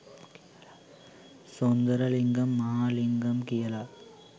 සුන්දරලිංගම් මහාලිංගම් කියලා.